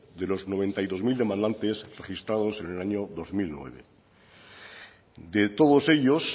de los noventa y dos mil demandantes registrados en el año dos mil nueve de todos ellos